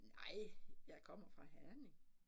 Nej jeg kommer fra Herning